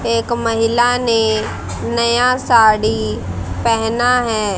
एक महिला ने नया साड़ी पहना है।